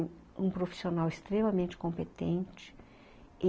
um profissional extremamente competente.